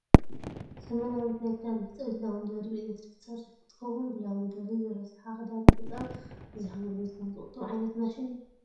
ዘመናዊት ናይ ክዳን መሕፀቢት ላውንደሪ ብኤሌክትሪክ ትሰርሕ እንትከውን ፣ ብላውንደሪ ዝረሰሓ ክዳን ምሕፃብ ግዜካን ጉልበትካን ዝቁጡብ ዓይነት ማሽን እዩ ።